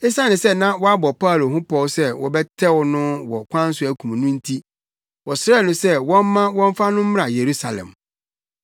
Esiane sɛ na wɔabɔ Paulo ho pɔw sɛ wɔbɛtɛw no wɔ ɔkwan so akum no nti, wɔsrɛɛ no sɛ wɔmma wɔmfa no mmra Yerusalem.